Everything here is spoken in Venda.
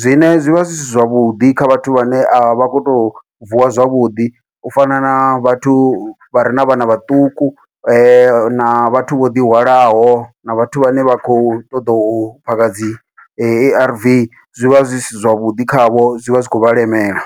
zwine zwivha zwi si zwavhuḓi kha vhathu vhane a vha khou tou vuwa zwavhuḓi, u fana na vhathu vha re na vhana vhaṱuku na vhathu vho ḓihwalaho na vhathu vhane vha khou ṱoḓa u phaka dzi A_R_V, zwivha zwi si zwavhuḓi khavho zwi vha zwi khou vha lemela.